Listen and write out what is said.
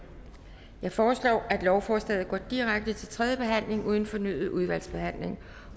jeg foreslår at lovforslaget går direkte til tredje behandling uden fornyet udvalgsbehandling